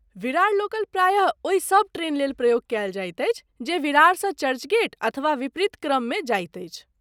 Virar local प्रायः ओहि सभ ट्रेन लेल प्रयोग कयल जाइत अछि जे विरारसँ चर्चगेट अथवा विपरीत क्रममे जाइत अछि।